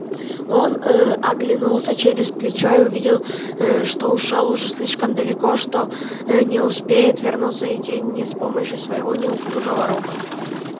он оглянулся через плечо и увидел что ушёл уже слишком далеко что не успеет вернуться в тень ни сам ни с помощью своего неуклюжего робота